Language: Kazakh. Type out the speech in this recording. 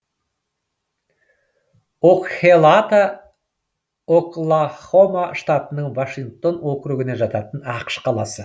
окхелата оклахома штатының вашингтон округіне жататын ақш қаласы